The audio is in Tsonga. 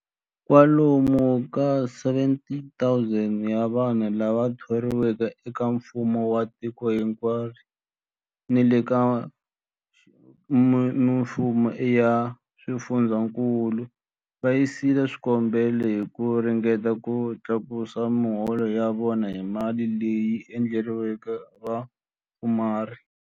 Kwalomu ka 17,000 wa vanhu lava thoriweke eka mfumo wa tiko hinkwaro ni le ka mifumo ya swifundzankulu va yisile swikombelo hi ku ringeta ku tlakusa miholo ya vona hi mali leyi endleriweke vapfumari.